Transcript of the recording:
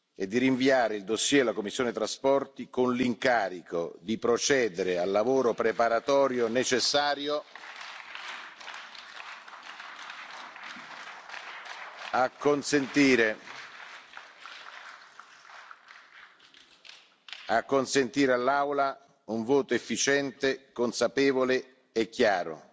e di rinviare il fascicolo alla commissione TRAN, con l'incarico di procedere al lavoro preparatorio necessario per consentire all'Aula un voto efficiente, consapevole e chiaro.